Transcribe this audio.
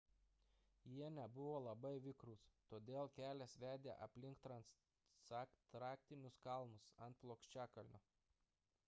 jie nebuvo labai vikrūs todėl kelias vedė aplink transantarktinius kalnus ant plokščiakalnio